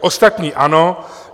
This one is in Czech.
Ostatní ano.